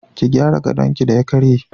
Ki gyara gadonki da ya karye.